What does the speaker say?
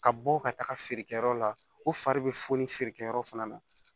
Ka bɔ ka taga feerekɛyɔrɔ la ko fari bɛ funu feerekɛyɔrɔ fana na